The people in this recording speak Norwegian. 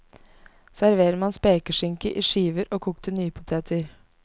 Server med spekeskinke i skiver og kokte nypoteter.